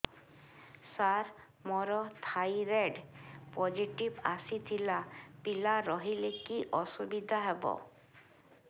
ସାର ମୋର thyroid positive ଆସିଥିଲା ପିଲା ରହିଲେ କି ଅସୁବିଧା ହେବ